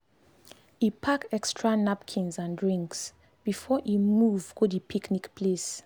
e pack extra napkins and drinks before e move go the picnic place